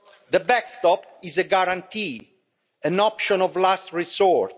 The backstop is a guarantee, an option of last resort.